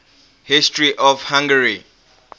history of hungary